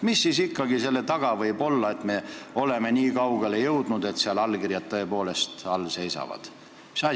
Mis siis ikkagi selle taga võib olla, et me oleme niikaugele jõudnud, et seal allkirjad tõepoolest all seisavad?